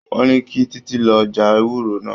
Wọ́n ní kí Títí lọ já ewúro náà.